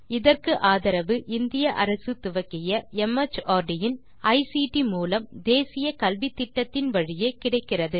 இதற்கு ஆதரவு இந்திய அரசு துவக்கிய மார்ட் இன் ஐசிடி மூலம் தேசிய கல்வித்திட்டத்தின் வழியே கிடைக்கிறது